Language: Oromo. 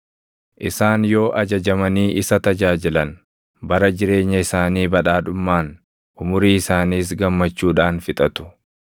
Isaan yoo ajajamanii isa tajaajilan, bara jireenya isaanii badhaadhummaan, umurii isaaniis gammachuudhaan fixatu.